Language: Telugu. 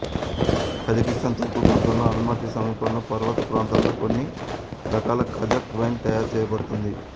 కజకిస్తాన్ తూర్పు ప్రాంతంలో ఆల్మటీ సమీపంలోని పర్వత ప్రాంతాలలో కొన్ని రకాల కజక్ వైన్ తయారు చేయబడుతుంది